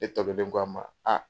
E tɔkelen ko a ma aa